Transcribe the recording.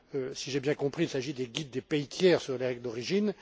Si j'ai bien compris, il s'agit des guides des pays tiers sur les règles d'origine.